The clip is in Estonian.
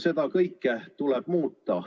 Seda kõike tuleb muuta.